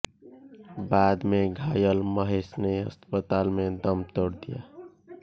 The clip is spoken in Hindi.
बाद में घायल महेश ने अस्पताल में दम तोड़ दिया